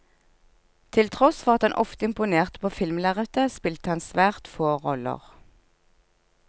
Til tross for at han ofte imponerte på filmlerretet, spilte han svært få roller.